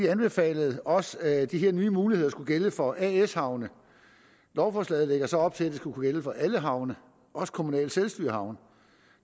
anbefalede også at de her nye muligheder skulle gælde for as havne lovforslaget lægger så op til at det skulle kunne gælde for alle havne også kommunale selvstyrehavne